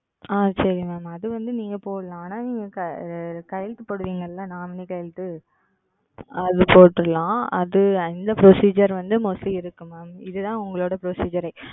ஆஹ் சரி Ma'am அது வந்து நீங்க போடலாம். ஆனா நீங்க கையெழுத்து போடுவீங்கல்ல Nominee கையெழுத்து அது போட்டுகளாம். அது அந்த Procedure வந்து Mostly இருக்கு Ma'am. இது தான் உங்களோட Procedure.